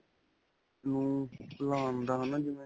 ਨੂੰ ਭੁਲਾਨ ਦਾ ਹੈ ਨਾ ਜਿਵੇਂ.